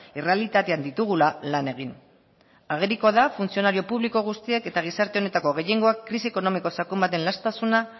errealitatean ditugula lan egin agerikoa da funtzionario publiko guztiek eta gizarte honetako gehiengoak krisi ekonomiko sakon baten laztasuna